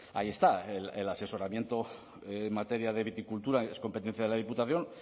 ahí está el asesoramiento en materia de viticultura es competencia de la diputación